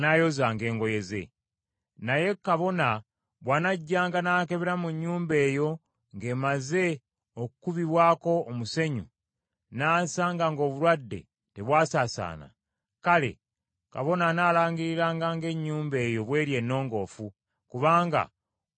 “Naye kabona bw’anajjanga n’akebera mu nnyumba eyo ng’emaze okukubibwako omusenyu, n’asanga ng’obulwadde tebwasaasaana; kale, kabona anaalangiriranga ng’ennyumba eyo bw’eri ennongoofu, kubanga olwo ng’obulwadde bugenze.